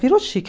Virou chique.